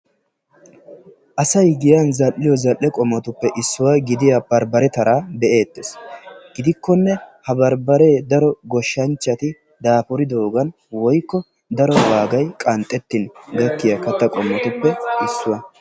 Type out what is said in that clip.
asay giyan zal'iyoo lal'e qommotuppe issuwaa gidiyaa barbare taraa be'eettes gidikkonne ha barbare daro goshshanchchati daafuridogan woykko daro wagay qanxxetin beetiyaa katta qommotupee issuwa.